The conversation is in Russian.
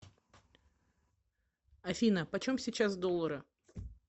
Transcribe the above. афина почем сейчас доллары